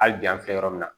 Hali bi an filɛ yɔrɔ min na